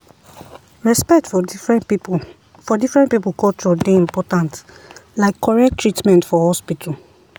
respect for different people for different people culture dey important like correct treatment for hospital.